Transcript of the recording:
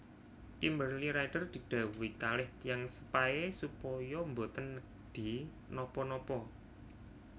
Kimberly Rider didhawuhi kalih tiyang sepahe supaya mboten nedhi napa napa